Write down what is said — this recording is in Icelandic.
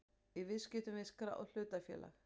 í viðskiptum við skráð hlutafélag.